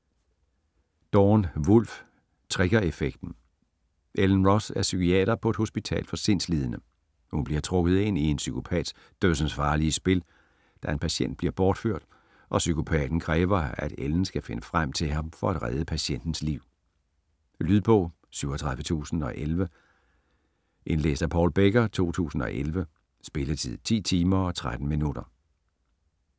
Dorn, Wulf: Triggereffekten Ellen Roth er psykiater på et hospital for sindslidende. Hun bliver trukket ind i en psykopats dødsensfarlige spil, da en patient bliver bortført og psykopaten kræver, at Ellen skal finde frem til ham for at redde patientens liv. Lydbog 37011 Indlæst af Paul Becker, 2011. Spilletid: 10 timer, 13 minutter.